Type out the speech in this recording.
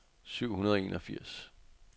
syv hundrede og enogfirs